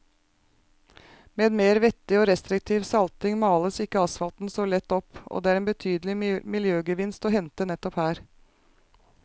Med mer vettig og restriktiv salting males ikke asfalten så lett opp, og det er en betydelig miljøgevinst å hente nettopp her.